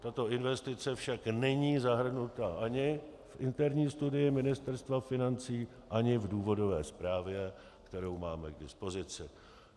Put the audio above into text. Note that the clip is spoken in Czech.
Tato investice však není zahrnuta ani v interní studii Ministerstva financí ani v důvodové zprávě, kterou máme k dispozici.